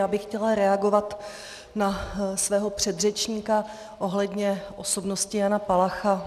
Já bych chtěla reagovat na svého předřečníka ohledně osobnosti Jana Palacha.